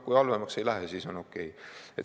Kui halvemaks ei lähe, siis on okei.